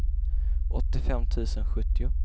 åttiofem tusen sjuttio